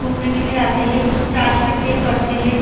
घूमने के लिए आते है चर्च में प्रे करते है।